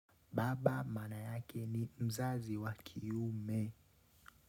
Baba maana yake ni mzazi wa kiume.